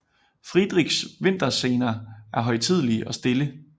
Friedrichs vinterscener er højtidelige og stille